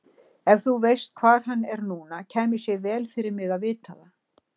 Ef þú veist hvar hann er núna kæmi sér vel fyrir mig að vita það.